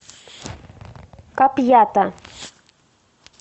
капьята